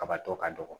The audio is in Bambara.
Kabatɔ ka dɔgɔ